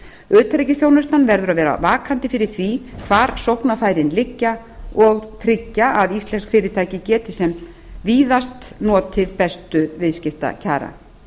utanríkisþjónustan verður að vera vakandi fyrir því hvar sóknarfærin liggja og tryggja að íslensk fyrirtæki geti sem víðast notið bestu viðskiptakjara